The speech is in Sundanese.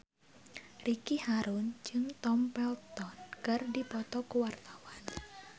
Ricky Harun jeung Tom Felton keur dipoto ku wartawan